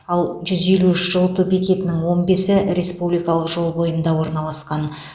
ал жүз елу үш жылыту бекетінің он бесі республикалық жол бойында орналасқан